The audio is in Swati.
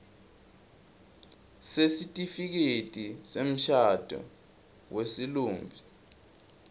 sesitifiketi semshado wesilumbi